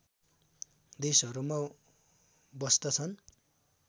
देशहरूमा बस्तछन्